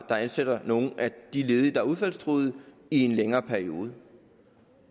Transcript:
ansætter nogle af de ledige der er udfaldstruede i en længere periode